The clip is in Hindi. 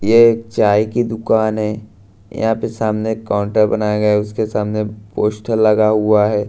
ये एक चाय की दुकान है यहां पे सामने काउंटर बनाया गया है उसके सामने पोस्टर लगा हुआ है।